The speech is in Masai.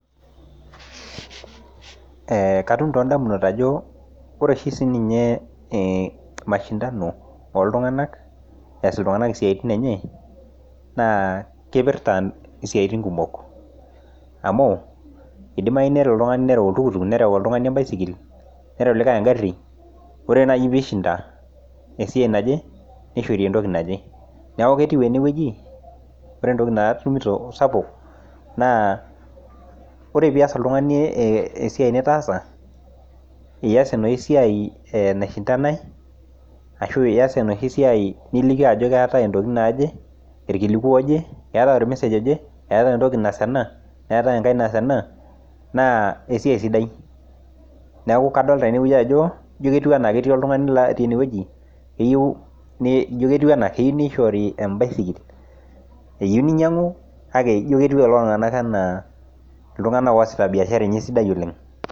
Katum toondamunot ajo ore oshi siininye mashindano ooltung'anak ees iltung'anak isiaitin enye naa kipirta isiaitin kumok amu idimayu nelo oltung'ani nereu oltukutuk, nereu oltung'ani embaisikil, nereu likae engari, ore naai peishinda esiai naje neishori entoki naje. Neeku etiu enewueji, ore entoki natumito sapuk naa ore pias oltung'ani esiai nitaasa ias enosiai naishindanae ashu ias enoshi siai nilikio ajo keetae intokiting naaje, irkiliku ooje, eetae ormesej oje, eetae entoki naas ena, neeate enkae naas ena naa esiai sidai. Neeku kadolita tenewueji ajo ijo ketiu enaa ketii oltung'ani otii enewueji eyieu, ijo ketiu enaa keyieu nishori embaisikil. Eyieu ninyang'u kake ijo ketiu lelo tung'anak enaa iltung'anak oosita biashara enye sidai oleng